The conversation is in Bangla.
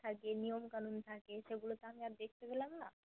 থাকে নিয়ম থাকে সেগুলো তো আমি আর দেখতে পেলাম না